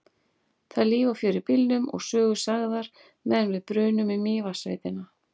Það er líf og fjör í bílnum og sögur sagðar meðan við brunum í Mývatnssveitina.